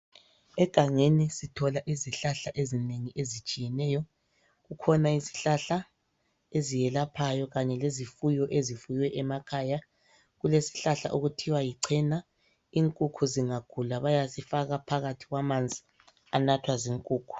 Egangeni sithola izihlahla ezinengi ezitshiyeneyo kukhona izihlahla eziyelaphayo kanye lezifuyo ezifuywe emakhaya ,kulesihlahla okuthiwa yichena inkukhu zingagula bayazifaka phakathi kwamanzi anathwa zinkukhu .